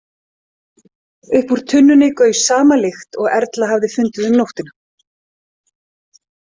Upp úr tunnunni gaus sama lykt og Erla hafði fundið um nóttina.